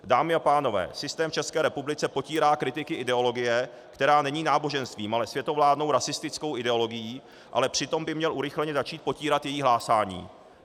Dámy a pánové, systém v České republice potírá kritiky ideologie, která není náboženstvím, ale světovládnou rasistickou ideologií, ale přitom by měl urychleně začít potírat její hlásání.